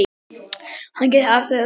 Hann gekk afsíðis og sprakk.